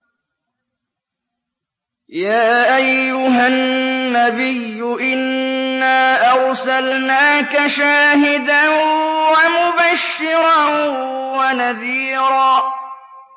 يَا أَيُّهَا النَّبِيُّ إِنَّا أَرْسَلْنَاكَ شَاهِدًا وَمُبَشِّرًا وَنَذِيرًا